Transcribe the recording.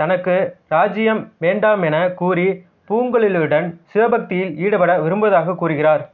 தனக்கு ராஜ்ஜியம் வேண்டாமெனக் கூறி பூங்குழலியுடன் சிவபக்தியில் ஈடுபட விரும்புவதாக கூறுகிறார்